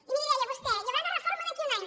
i miri deia vostè hi haurà una reforma d’aquí a un any